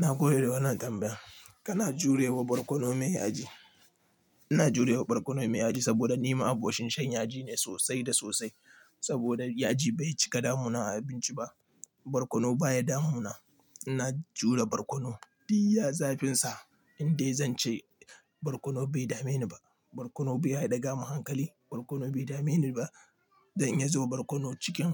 Na gode da wannan tambayar. Kana jurewa barkono mai yaji. Ina jurewa barkono mai yaji saboda ni ma abocin shan yaji ne sosai da sosai. Saboda yaji bai cika damuna a abinci ba. Barkono baya damuna. Ina jure barkono iyya zafinsa in dai zan ce barkono bai dame ni ba. Barkono baya daga man hankali. Barkono bai dame ni ba dan iya zuba barkono cikin